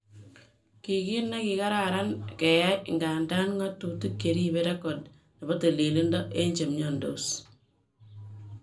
Kiy kit nekararan keyai ,igadan, ngotutik cheribe record nebo tililido eng chemiondos